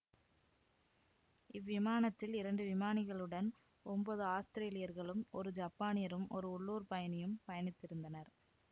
இவ்விமானத்தில் இரண்டு விமானிகளுடன் ஒன்பது ஆஸ்திரேலியர்களும் ஒரு ஜப்பானியரும் ஒரு உள்ளூர் பயணியும் பயணித்திருந்தனர்